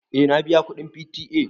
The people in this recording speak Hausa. Eh na biya kuɗin P.T.A.